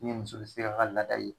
Ni muso bɛ se ka a ka laada ye